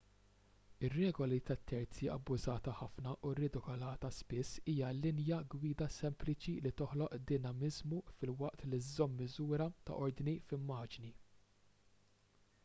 ir-regola tat-terzi abbużata ħafna u ridikolata spiss hija linja gwida sempliċi li toħloq dinamiżmu filwaqt li żżomm miżura ta' ordni f'immaġni